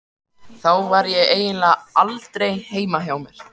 Þá var ég eiginlega aldrei heima hjá mér.